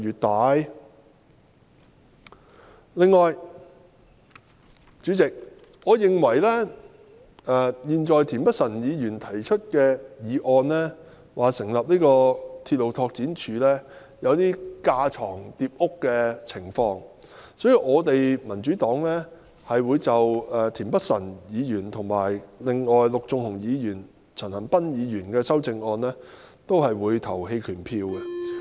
代理主席，我認為田北辰議員的議案要求成立獨立鐵路拓展署有一點架床疊屋的情況，因此我們民主黨會就田北辰議員的議案，以及陸頌雄議員和陳恒鑌議員的修正案投棄權票。